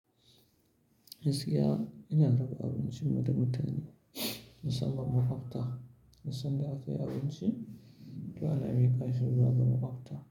Gaskiya ina raba abincin mu da mutane musamman makwabta, duk sanda akwai abinci, to ana miƙa shi zuwa ga makwabta.